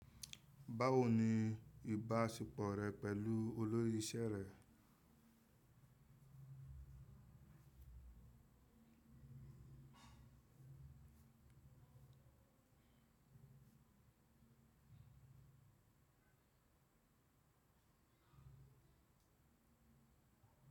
Báwo ni ìbáṣepọ̀ rẹ pẹ̀lú olórí iṣẹ́ rẹ?